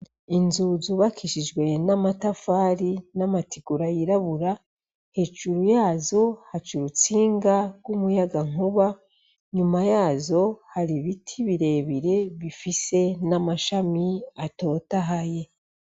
Inzu zubakishijwe n'amatafari n'amategura yirabura hejuru yazo haca urutsinga rw'umuyaga nkuba nyuma yazo hari ibiti birebire bifise n'amashami atotahaye.